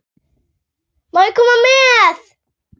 Má ég koma með?